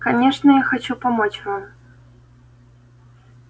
конечно я хочу помочь вам